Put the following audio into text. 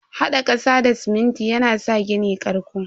Hada kasa da siminti yana sa gini karƙo.